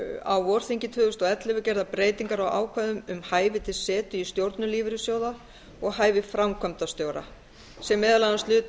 á vorþingi tvö þúsund og ellefu gerðar breytingar á ákvæðum um hæfi til setu í stjórnum lífeyrissjóða og hæfi framkvæmdastjóra sem meðal annars lutu